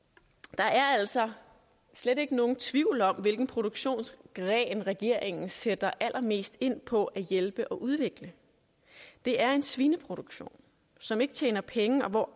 der er altså slet ikke nogen tvivl om hvilken produktionsgren regeringen sætter allermest ind på at hjælpe og udvikle det er en svineproduktion som ikke tjener penge og